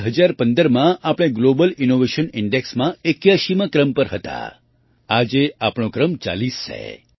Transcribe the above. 2015માં આપણે global innovation ઇન્ડેક્સમાં 81મા ક્રમ પર હતા આજે આપણો ક્રમ 40 છે